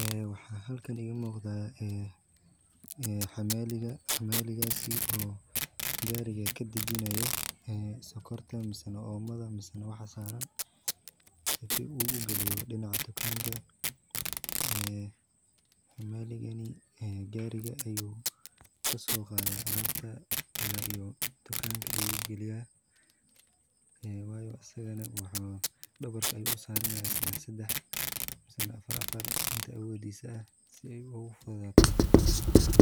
Eh, waxa halkan iga muqdaa, eh, eh, xamaaliga. Xamaaliga si oo gaariga ka dejiinooyo, eh, sokorta misan oomada misan waxaa saran sife u, ugaliyo dhinaco dukaanka, ee, xamaaligani, ee, gaariga ayuu ka soo qaada alaabta ilaa iyo dukaanka ayuu geliyaa. Ee, waayo asigana waxaa dhabarka ay u saarnaa saddex, saddex misan afar, afar inta weediisa ah si ay ugu fadaato